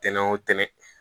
Tɛnɛ o tɛnɛn